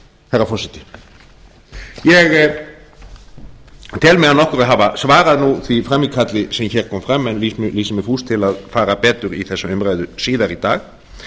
herra forseti ég tel mig að nokkru hafa svarað nú því frammíkalli sem kom fram áðan en lýsi mig fúsan til að fara betur í þessa umræðu síðar í dag